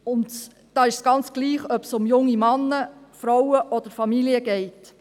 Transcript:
Und dabei ist es ganz egal, ob es um junge Männer, Frauen oder Familien geht.